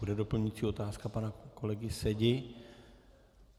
Bude doplňující otázka pana kolegy Sedi.